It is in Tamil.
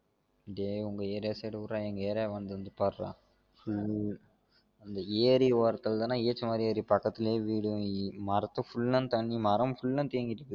டே உங்க area side விடுற எங்க area வந்து வந்து பாரு டா அந்த ஏறி ஒரத்துல தான AC மாறி இருக்கு பக்கத்துலலே வீடு மரத்து full ஆ தண்ணி மரம் full அஹ் தேங்கி இருக்குது